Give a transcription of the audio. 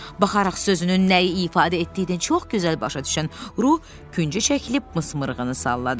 Baxarıq sözünün nəyi ifadə etdiyini çox gözəl başa düşən Ruh küncə çəkilib mızmırığını salladı.